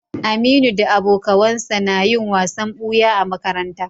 Aminu da abokawansa na yin wasan buya a makaranta